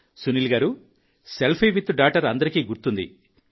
సునీల్ గారూ selfie with daughter అందరికీ గుర్తుంది